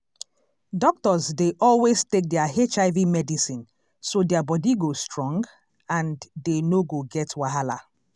doctors dey always take their hiv medicine so their body go strong and dey no go get wahala.